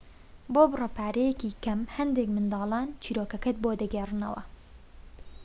بۆ بڕە پارەیەکی کەم هەندێك منداڵان چیرۆکەکەت بۆ دەگێڕنەوە